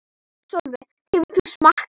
Sólveig: Hefur þú smakkað?